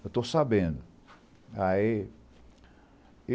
Eu estou sabendo. Aí